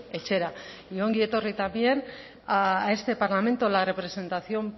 etxera y ongi etorri también a este parlamento la representación